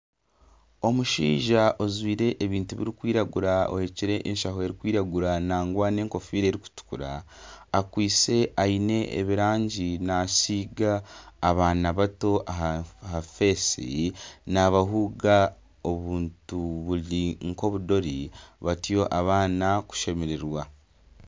Omushaija ojwire ebintu birikwiragura ohekire enshaho erikwiragura nangwa n'enkofiira erikutukura akwise ebirangi ariyo nasiiga abaana bato aha feesi nabahuga obuntu buri nk'obudore batyo abaana kushemererwa.